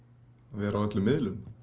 vera á öllum miðlum